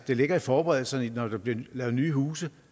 det ligger i forberedelserne når der bliver lavet nye huse